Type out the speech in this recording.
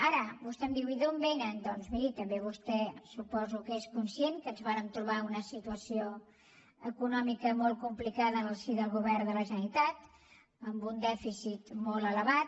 ara vostè em diu i d’on vénen doncs miri també vostè suposo que és conscient que ens vàrem trobar una situació econòmica molt complicada en el si del govern de la generalitat amb un dèficit molt elevat